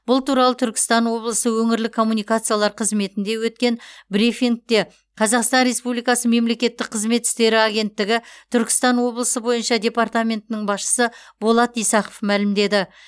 бұл туралы түркістан облысы өңірлік коммуникациялар қызметінде өткен брифингте қазақстан республикасы мемлекеттік қызмет істері агенттігі түркістан облысы бойынша департаментінің басшысы болат исақов мәлімдеді